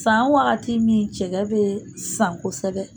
San wagati min cɛkɛ bɛ san kosɛbɛ.